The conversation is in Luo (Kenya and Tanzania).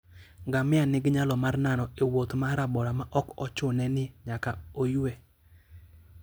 Ngamia nigi nyalo mar nano e wuoth ma rabora maok ochune ni nyaka oywe.